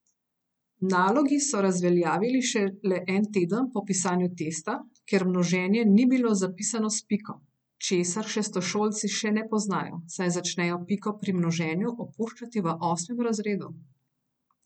Nalogi so razveljavili šele en teden po pisanju testa, ker množenje ni bilo zapisano s piko, česar šestošolci še ne poznajo, saj začnejo piko pri množenju opuščati v osmem razredu.